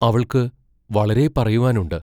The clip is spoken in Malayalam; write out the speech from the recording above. അവൾക്കു വളരെ പറയുവാനുണ്ട്.